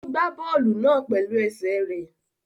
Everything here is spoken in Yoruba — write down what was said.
Ó gbá bọ́ọ̀lù náà pẹ̀lú ẹsẹ̀ rẹ̀